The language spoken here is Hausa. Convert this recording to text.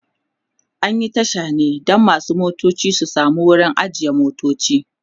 an Yi Tasha ne Dan masu motoci su samu wurin ajiye motoci